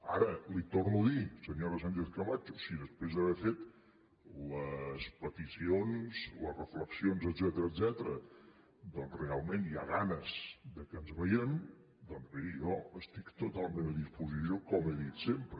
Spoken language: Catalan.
ara l’hi torno a dir senyora sánchez camacho si després d’haver fet les peticions les reflexions etcètera realment hi ha ganes que ens vegem doncs miri jo estic totalment a disposició com he dit sempre